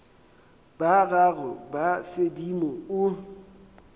ba gago ba sedimo o